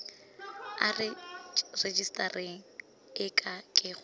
a rejisetara e ke go